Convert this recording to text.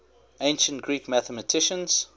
ancient greek mathematicians